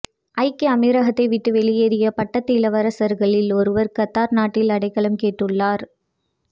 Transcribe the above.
ஐக்கிய அமீரகத்தை விட்டு வெளியேறிய பட்டத்து இளவரசர்களில் ஒருவர் கத்தார் நாட்டில் அடைக்கலம் கேட்டுள்ளார்